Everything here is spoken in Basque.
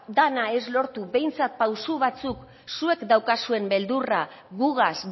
dena ez lortu behintzat pausu batzuk zuek daukazuen beldurra gugaz